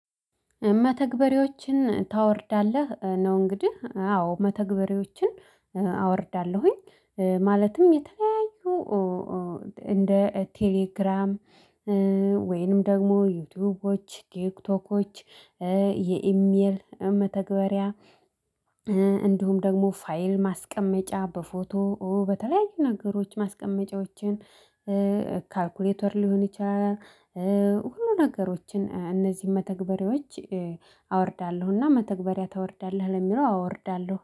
መተግበሬዎችን ታወርዳለህ ነው? እንግዲህ አዎ መተግበሪዎችን አወርዳለሁኝ። ማለትም የተለያዩ እንደ ቴሌግራም ወይንም ደግሞ ዩቲዩቦች ቲክቶኮች የኢሜል መተግበሪያ። እንዲሁም ደግሞ ፋይል ማስቀመጫ በፎቶ በተለያዩ ነገሮች ማስቀመጫዎችን። ካልኩሌተር ሊሆን ይችላል። ሁሉ ነገሮችን እነዚህን መተግበሪያዎች። አወርዳለሁና መተግበሪያ ታወርዳለህ ለሚለው አዎ አወርዳለሁ